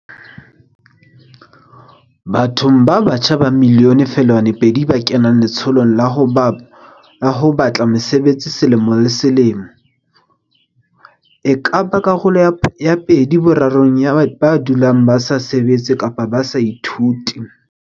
Bathong ba batjha ba 1.2 milione ba kenang letsholong la ho ba tla mesebetsi selemo le se lemo, e ka ba karolo ya pedi borarong ya ba dulang ba sa sebetse kapa ba sa ithute.